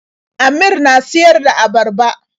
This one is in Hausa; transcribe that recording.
Amir na siyar da abarba.